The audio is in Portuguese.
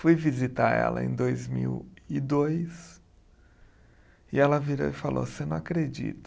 Fui visitar ela em dois mil e dois e ela virou e falou, você não acredita.